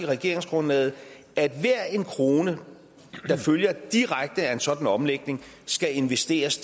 regeringsgrundlaget at hver en krone der følger direkte af en sådan omlægning skal investeres